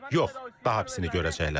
Yox, daha pisini görəcəklər.